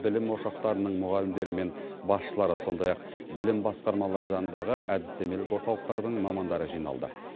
білім ошақтарының мұғалімдері мен басшылары сондай ақ білім басқармалары жанындағы әдістемелік орталықтардың мамандары жиналды